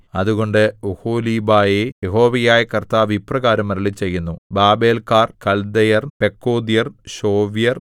അതുകൊണ്ട് ഒഹൊലീബയേ യഹോവയായ കർത്താവ് ഇപ്രകാരം അരുളിച്ചെയ്യുന്നു ബാബേല്‍ക്കാർ കല്ദയർ പെക്കോദ്യർ ശോവ്യർ